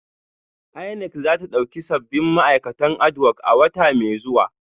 INEC za ta dauki sabbin ma'aikatan adhoc a wata mai zuwa